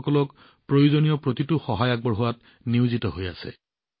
ৰোগীসকলক প্ৰয়োজনীয় সকলো সহায় আগবঢ়োৱাত নিয়োজিত হৈ আছে